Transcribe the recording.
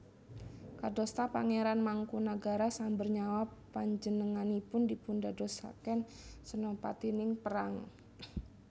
Kadosta Pangéran Mangkunagara Samber Nyawa panjenenganipun dipundadosaken sénopatining perang